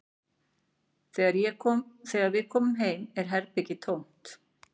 Þegar við komum heim er herbergið tómt